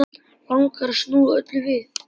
Langar að snúa öllu við.